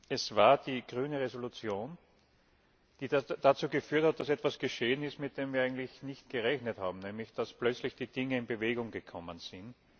Es war die Entschließung der Grünen, die dazu geführt hat, dass etwas geschehen ist, mit dem wir eigentlich nicht gerechnet haben, nämlich dass plötzlich die Dinge in Bewegung gekommen sind.